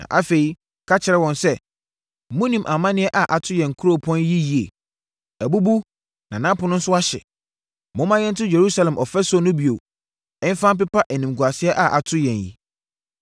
Na afei, meka kyerɛɛ wɔn sɛ, “Monim amaneɛ a ato yɛn kuropɔn yi yie. Abubu na nʼapono nso ahye. Momma yɛnto Yerusalem ɔfasuo no bio mfa mpepa animguaseɛ a ato yɛn yi!”